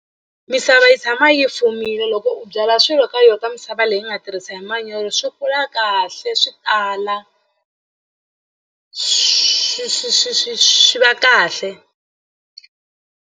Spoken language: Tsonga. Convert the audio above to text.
Misava yi tshama yi fumile loko u byala swilo ka yona ka misava leyi u nga tirhisa hi manyoro swi kula kahle swi tala swi swi swi swi swi va kahle.